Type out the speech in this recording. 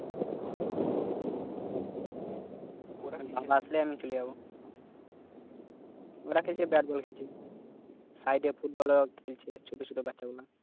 ও ওরা বাবা আসলে আমি চলে যাবো ওরা খেলছে bad ball খেলছে side এ football ও খেলছে ছোট ছোট বাচ্চা গুলা